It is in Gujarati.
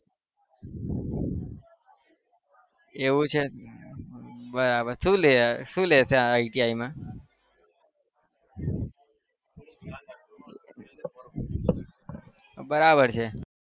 એવું છે બરાબર શું લે શું લે છે ITI માં બરાબર છે.